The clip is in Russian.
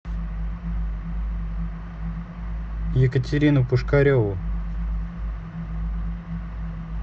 екатерину пушкареву